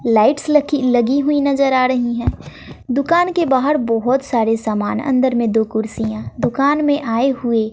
lights लकी लगी हुई नजर आ ड़ही है दुकान के बाहर बहोत सारे सामान अंदर में दो कुर्सियां दुकान में आए हुए--